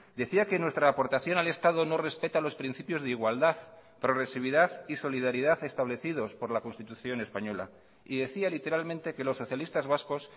decía que nuestra aportación al estado no respeta los principios de igualdad progresividad y solidaridad establecidos por la constitución española y decía literalmente que los socialistas vascos